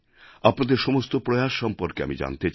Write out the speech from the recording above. আপনাদের সমস্ত প্রয়াস সম্পর্কে আমি জানতে চাই